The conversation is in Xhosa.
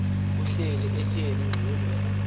kuhleli etyeni ingxilimbela